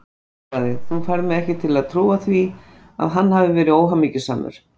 Hún svaraði: Þú færð mig ekki til að trúa því að hann hafi verið óhamingjusamur.